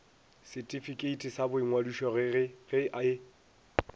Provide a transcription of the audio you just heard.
setifikeiti sa boingwadišo ge e